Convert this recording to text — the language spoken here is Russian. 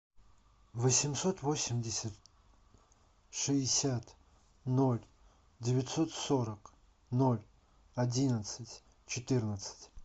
восемьсот восемьдесят шестьдесят ноль девятьсот сорок ноль одиннадцать четырнадцать